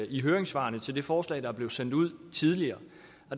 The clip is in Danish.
i høringssvarene til det forslag der blev sendt ud tidligere